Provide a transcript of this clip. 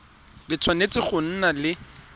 le tshwanetse go nna le